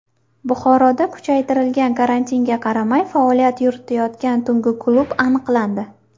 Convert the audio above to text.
Buxoroda kuchaytirilgan karantinga qaramay faoliyat yuritayotgan tungi klub aniqlandi.